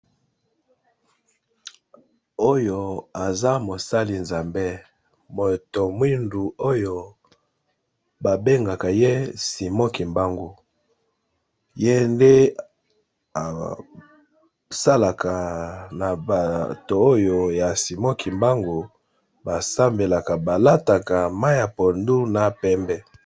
oyo aza mosali nzambe moto mwindu oyo babengaka ye simoki mbangu ye nde asalaka na bato oyo ya simoki mbangu basambelaka balataka ma ya pondu na pembe